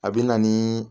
A bɛ na ni